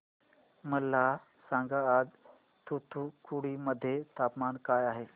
मला सांगा आज तूतुकुडी मध्ये तापमान काय आहे